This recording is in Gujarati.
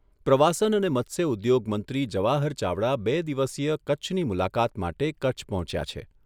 પ્રવાસન અને મત્સ્ય ઉદ્યોગ મંત્રી જવાહર ચાવડા બે દિવસીય કચ્છની મુલાકાત માટે કચ્છ પહોંચ્યા છે.